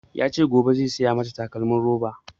Ya ce gobe zai saya mata takalmin roba